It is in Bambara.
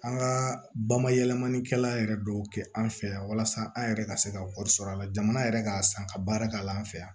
An ka bamayɛlɛmalikɛla yɛrɛ dɔw kɛ an fɛ yan walasa an yɛrɛ ka se ka wari sɔrɔ a la jamana yɛrɛ ka san ka baara k'a la an fɛ yan